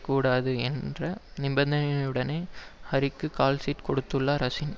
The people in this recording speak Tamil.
கூடாது என்ற நிபந்தனையுடனே ஹரிக்கு கால்ஷீட் கொடுத்துள்ளார் அசின்